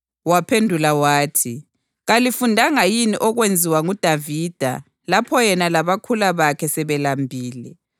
Waphendula wathi, “Kalifundanga yini okwenziwa nguDavida lapho yena labakhula bakhe sebelambile?